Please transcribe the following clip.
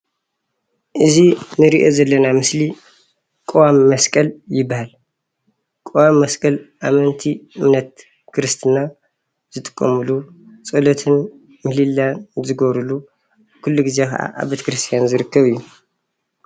እዚ እንሪኦ ዘለና ምስሊ ቀዋሚ መስቀል ይበሃል። ቀዋሚ መስቀል ኣመንቲ እምነት ክርስትና ዝጥቀሙሉ ፀሎትን ምህሌላን ዝገብሩሉ ኹሉ ግዜ ከዓ ኣብ ቤቴክርስትያን ዝርከብ እዩ።